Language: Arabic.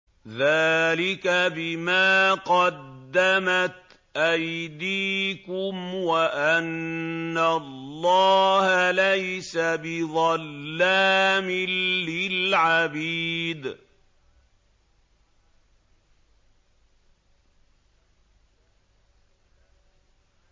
ذَٰلِكَ بِمَا قَدَّمَتْ أَيْدِيكُمْ وَأَنَّ اللَّهَ لَيْسَ بِظَلَّامٍ لِّلْعَبِيدِ